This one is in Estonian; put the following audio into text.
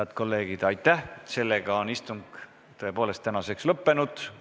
Head kolleegid, istung on tõepoolest tänaseks lõppenud.